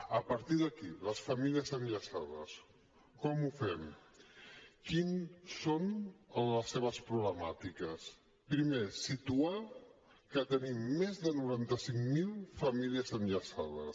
a partir d’aquí les famílies enllaçades com ho fem quines són les seves problemàtiques primer situar que tenim més de noranta cinc mil famílies enllaçades